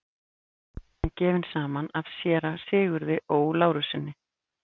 Við Ingibjörg voru gefin saman af séra Sigurði Ó. Lárussyni.